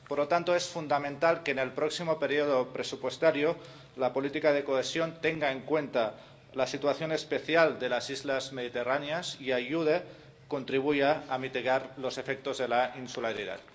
Por lo tanto, es fundamental que en el próximo periodo presupuestario la política de cohesión tenga en cuenta la situación especial de las islas mediterráneas y ayude, contribuya, a mitigar los efectos de la insularidad.